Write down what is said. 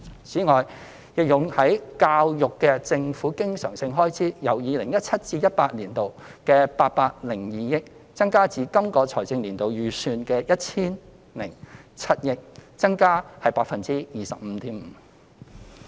此外，用於教育的政府經常性開支由 2017-2018 年度的802億元，增加至今個財政年度預算的 1,007 億元，增幅為 25.5%。